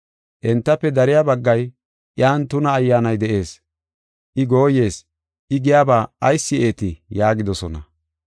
Entafe dariya baggay, “Iyan tuna ayyaanay de7ees! I gooyees! I giyaba ayis si7eetii?” yaagidosona.